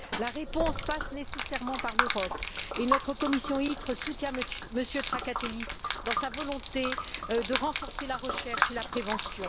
La réponse passe nécessairement par l'Europe, et notre commission ITRE soutient M. Trakatellis dans sa volonté de renforcer la recherche et la prévention.